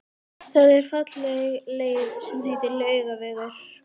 Það er falleg leið sem heitir Laugavegur.